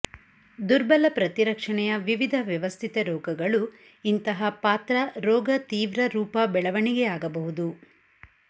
ದುರ್ಬಲ ಪ್ರತಿರಕ್ಷಣೆಯ ವಿವಿಧ ವ್ಯವಸ್ಥಿತ ರೋಗಗಳು ಇಂತಹ ಪಾತ್ರ ರೋಗ ತೀವ್ರ ರೂಪ ಬೆಳವಣಿಗೆಯಾಗಬಹುದು